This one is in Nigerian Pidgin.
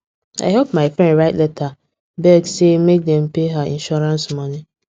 i help my friend write letter beg say make dem pay her insurance money